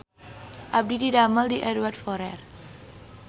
Abdi didamel di Edward Forrer